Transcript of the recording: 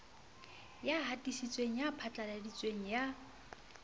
ya hatisitseng ya phatlaladitseng ya